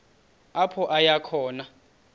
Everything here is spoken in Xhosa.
apho aya khona